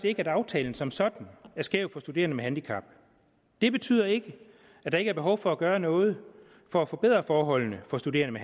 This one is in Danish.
ikke at aftalen som sådan er skæv for studerende med handicap det betyder ikke at der ikke er behov for at gøre noget for at forbedre forholdene for studerende